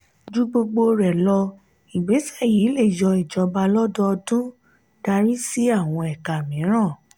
ju gbogbo rẹ lọ ìgbésẹ yi lè yọ ijọba lọdọọdun darí sí àwọn ẹka míràn.